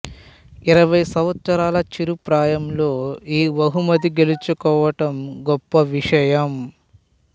ఇరవై సంవత్సరాల చిరు ప్రాయంలో ఈ బహుమతి గెల్చుకోవడం గొప్ప విషయం